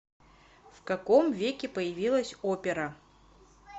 в каком веке появилась опера